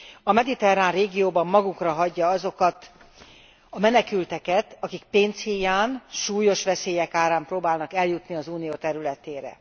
A mediterrán régióban magukra hagyja azokat a menekülteket, akik pénz híján, súlyos veszélyek árán próbálnak eljutni az Unió területére.